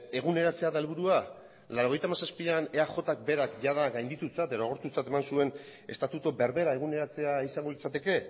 eguneratzea da helburua mila bederatziehun eta laurogeita hamazazpian eajk berak jada gainditutzat edo agortutzat eman zuen estatutu berbera eguneratzea izango litzateke